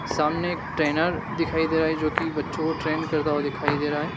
सामने एक ट्रेनर दिखाई दे रहा है जो कि बच्चों को ट्रेन करता हुआ दिखाई दे रहा है।